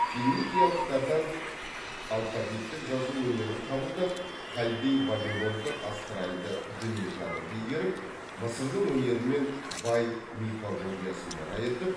финикиялықтардан алфавиттік жазу өнерін қабылдап халдей вавилондық астральды дүниетанымды игеріп мысырдың өнері мен бай мифологиясын мұра етіп